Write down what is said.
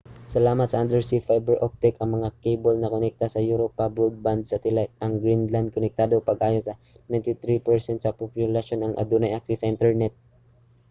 salamat sa undersea fiber optic ang mga kable nakonekta sa europa ug broadband satellite ang greenland konektado pag-ayo sa 93% sa populasyon ang adunay access sa internet